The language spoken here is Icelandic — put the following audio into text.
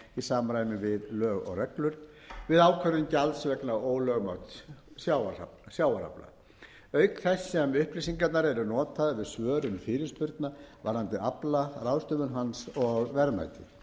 í samræmi við lög og reglur við ákvörðun gjalds vegna ólögmæts sjávarafla auk þess sem upplýsingarnar eru notaðar við svörun fyrirspurna varðandi afla ráðstöfun hans og verðmæti